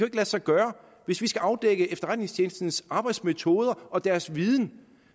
ikke lade sig gøre hvis vi skal afdække efterretningstjenestens arbejdsmetoder og dens viden